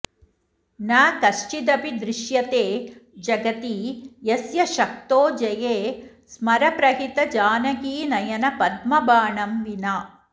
न कश्चिदपि दृश्यते जगति यस्य शक्तो जये स्मरप्रहितजानकीनयनपद्मबाणं विना